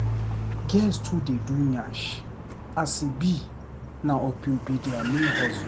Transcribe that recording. Girls too dey do nyash as e be na opio be dia main hustle.